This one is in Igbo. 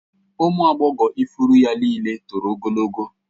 Ụmụ agbọghọ ifuru ya niile toro ogologo